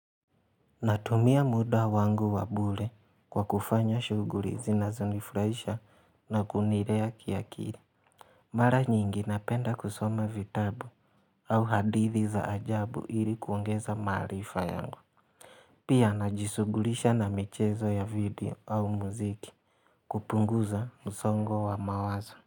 Natumia muda wangu wa bure kwa kufanya shughuli zinazonifraisha na kunilea kiakili. Mara nyingi napenda kusoma vitabu au hadithi za ajabu ili kuongeza maarifa yangu. Pia najishughulisha na michezo ya video au muziki kupunguza msongo wa mawazo.